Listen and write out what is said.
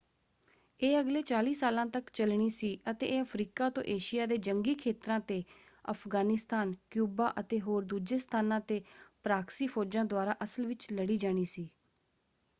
ਇਹ ਅਗਲੇ 40 ਸਾਲਾਂ ਤੱਕ ਚੱਲਣੀ ਸੀ ਅਤੇ ਇਹ ਅਫ਼ਰੀਕਾ ਤੋਂ ਏਸ਼ੀਆ ਦੇ ਜੰਗੀ ਖੇਤਰਾਂ 'ਤੇ ਅਫ਼ਗ਼ਾਨਿਸਤਾਨ ਕਿਊਬਾ ਅਤੇ ਹੋਰ ਦੂਜੇ ਸਥਾਨਾਂ 'ਤੇ ਪਰਾਕਸੀ ਫੌਜਾਂ ਦੁਆਰਾ ਅਸਲ ਵਿੱਚ ਲੜੀ ਜਾਣੀ ਸੀ।